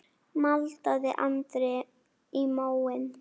maldaði Andri í móinn.